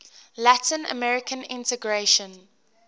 latin american integration